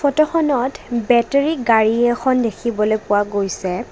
ফটোখনত বাটেৰী গাড়ী এখন দেখিবলৈ পোৱা গৈছে।